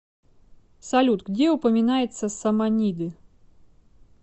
салют где упоминается саманиды